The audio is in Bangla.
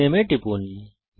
রিনেম এ টিপুন